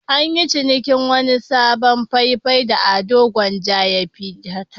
An yi cinikin wani sabon fai-fai da Ado Gwanja ya fiyar.